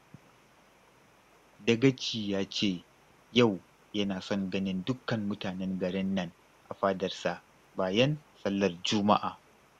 Dagaci ya ce yau yana son ganin dukkan mutanen garin nan a fadarsa bayan sallar Juma'a